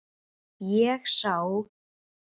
Ég sá